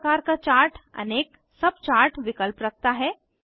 प्रत्येक प्रकार का चार्ट अनेक सबचार्ट विकल्प रखता है